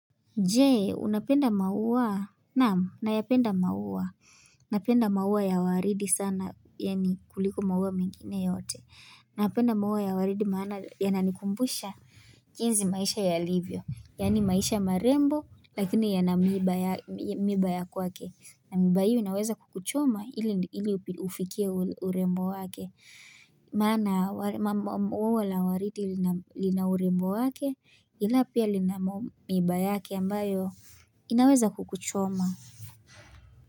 Je, unapenda maua, naam, nayapenda maua, napenda maua ya waridi sana, yani kuliko maua mengine yote, napenda maua ya waridi maana, yananikumbusha, jinsi maisha yalivyo, yani maisha marembo, lakini yana miiba ya kwake, na miiba hiyo inaweza kukuchoma, ili ufikie urembo wake. Maana ua la waridi lina urembu wake ila pia lina miiba yake ambayo inaweza kukuchoma.